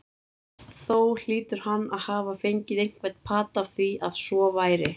Þó hlýtur hann að hafa fengið einhvern pata af því, að svo væri.